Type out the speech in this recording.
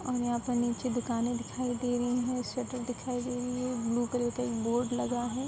और यहाँ पर नीचे दुकानें दिखाई दे रही हैं शटर दिखाई दे रही है ब्लू कलर का एक बोर्ड लगा है।